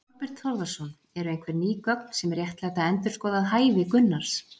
Þorbjörn Þórðarson: Eru einhver ný gögn sem réttlæta endurskoðað hæfi Gunnars?